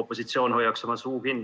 opositsioon hoiaks oma suu kinni.